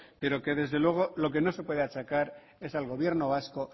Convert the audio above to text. pero que desde luego no se puede achacar es al gobierno vasco